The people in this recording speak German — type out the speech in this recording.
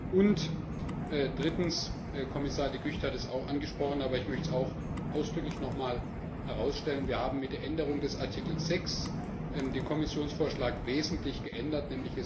Und drittens Kommissar De Gucht hat es auch angesprochen, aber ich möchte es auch ausdrücklich noch einmal herausstellen Wir haben mit der Änderung des Artikels 6 den Kommissionsvorschlag wesentlich geändert.